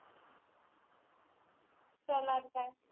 सालार काय?